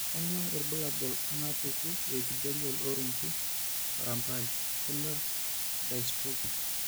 Kainyio irbulabul onaapuku eEpithelial orungu arambai corneal dystrophy?